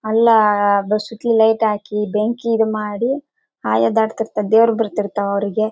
ಅಲ್ಲ ಲೈಟ್ ಹಾಕಿ ಬೆಂಕಿ ಇದು ಮಾಡಿ ಆಯಾ ದಾಟ್ತಿರ್ತತ್ತೆ ದೇವರು ಬರ್ತಿರ್ತಾವೆ ಅವರಿಗೆ.